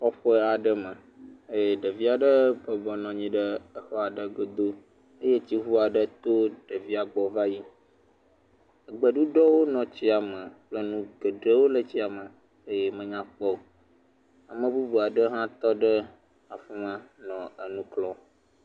Kɔƒe aɖe me eye ɖevi aɖe bɔbɔ nɔ anyi ɖe xɔa godo eye tsiŋu aɖe to ɖevia gbɔ va yi. Gbeɖuɖɔwo nɔ tsia me kple nu geɖewo le tsia me eye menyakpɔ o. Ame bubu aɖe hã tɔ ɖe afi ma nɔ nu kpɔm.